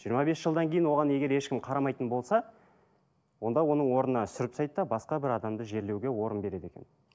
жиырма бес жылдан кейін оған егер ешкім қарамайтын болса онда оның орнына сүріп тастайды да басқа бір адамды жерлеуге орын береді екен